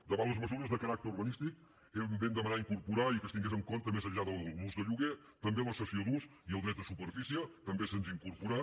davant les mesures de caràcter urbanístic vam demanar incorporar i que es tinguessin en compte més enllà de l’ús del lloguer també la cessió d’ús i el dret de superfície també s’hi han incorporat